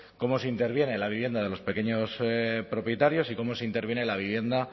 cómo se interviene en la vivienda de los pequeños propietarios y cómo se interviene en la vivienda